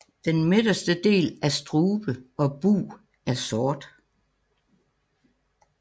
Den midterste del af strube og bug er sort